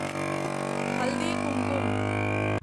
Haldi Kumkum